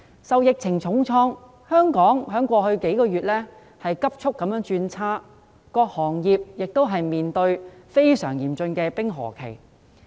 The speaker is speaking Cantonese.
受疫情重創，香港經濟在過去數月急速轉差，各行各業亦面對非常嚴峻的冰河期。